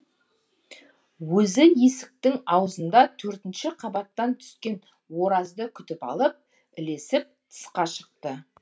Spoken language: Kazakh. өзі есіктің аузында төртінші қабаттан түскен оразды күтіп алып ілесіп тысқа шықты